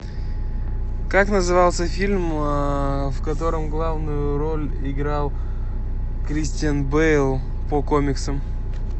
как назывался фильм в котором главную роль играл кристиан бейл по комиксам